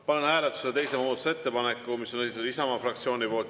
Panen hääletusele teise muudatusettepaneku, mis on esitatud Isamaa fraktsiooni poolt.